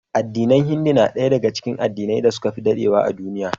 Addinin Hindu na daya daga cikin addinan da suka fi dadewa a duniya